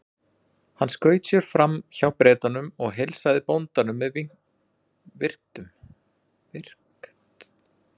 Hann skaut sér fram hjá Bretunum og heilsaði bóndanum með virktum.